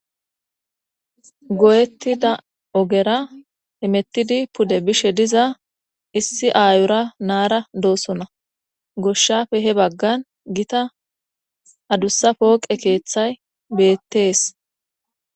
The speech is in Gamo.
Goyettida ogera emettidi pude bishe diza issi aayora naara doosona goshshafe he baggan gita adussa pooqe keeththay beettees.